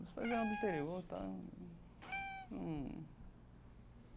Meus pais eram do interior, tal num num.